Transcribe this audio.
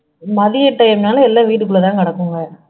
மதிய டைம்னால எல்லாம் வீட்டுக்குள்ள தான் கிடக்குங்க